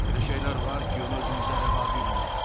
Elə şeylər var ki, onu özümüzə rəva bilmirik.